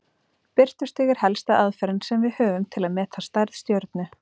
Birtustig er helsta aðferðin sem við höfum til að meta stærð stjörnu.